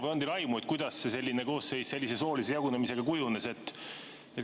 Või on teil aimu, kuidas see koosseis sellise soolise jagunemisega kujunes?